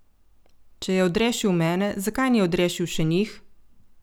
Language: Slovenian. Če je odrešil mene, zakaj ni odrešil še njih?